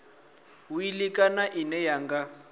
wili kana ine ya nga